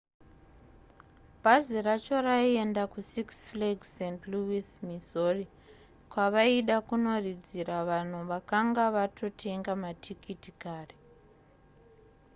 bhazi racho raienda kusix flags st louis missouri kwavaida kunoridzira vanhu vakanga vakatotenga matikiti kare